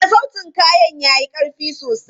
A'a, sautin kayan ya yi ƙarfi sosai.